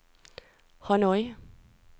Hanoi